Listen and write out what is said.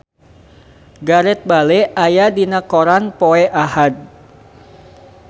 Gareth Bale aya dina koran poe Ahad